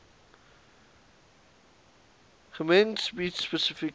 gems bied spesifieke